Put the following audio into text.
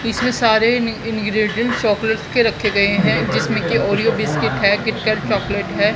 इसमें सारे ईनी इन्ग्रीडिन चॉकलेटस के रखे गए हैं जिसमें की आरियों बिस्किट है कीटकैट चॉकलेट है।